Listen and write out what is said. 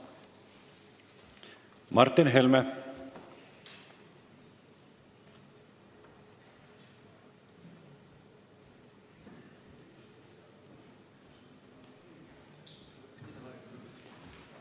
Martin Helme.